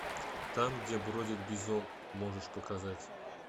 там где бродит бизон можешь показать